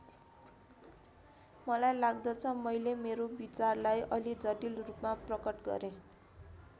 मलाई लाग्दछ मैले मेरो विचारलाई अलि जटिल रूपमा प्रकट गरेँ।